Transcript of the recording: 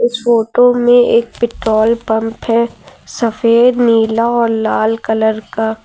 इस फोटो में एक पेट्रोल पंप है सफेद नीला और लाल कलर का।